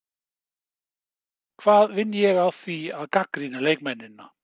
Hvað vinn ég á því að gagnrýna leikmennina?